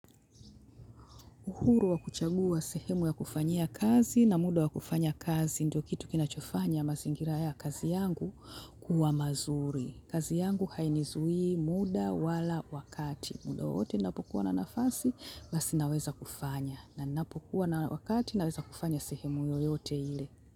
Uhuru wa kuchagua sehemu ya kufanyia kazi na muda wa kufanya kazi, ndio kitu kinachofanya mazingira ya kazi yangu kuwa mazuri. Kazi yangu hainizuii muda wala wakati. Muda wowote ninapokuwa na nafasi, basi naweza kufanya. Na ninapokuwa na wakati, naweza kufanya sehemu yoyote ile.